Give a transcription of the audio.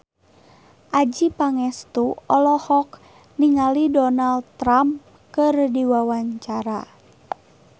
Adjie Pangestu olohok ningali Donald Trump keur diwawancara